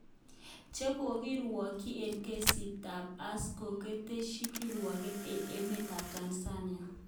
Chekokirwokyin eng kesit tab Escrow keteshi kirwoget eng emet tab Tanzania